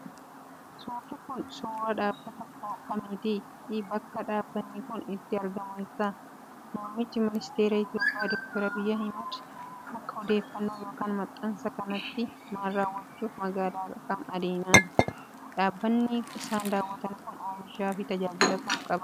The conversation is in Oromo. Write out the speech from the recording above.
Suurri kun, suura dhaabbata kamiiti fi bakki dhaabbanni kun itti argamu eessa? Muummichi ministeeraa Itoophiyaa ,doktar Abiy Ahmad akka odeeffannoo yokin maxxansa kanaatti maal raawwachuuf magaalaa kam adeeman? Dhaabbanni isaan daawwatan kun, oomishaa fi tajaajila akka kamii qaba?